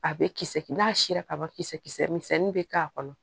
A bɛ kisɛ kɛ n'a sera kaba kisɛ kisɛ misɛnin bɛ k'a kɔnɔ